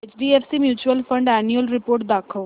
HDFC mutual fund annual report दाखव